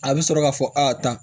A bɛ sɔrɔ ka fɔ a ta